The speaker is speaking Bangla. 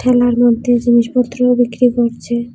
ঠেলার মধ্যে জিনিসপত্রও বিক্রি করছে।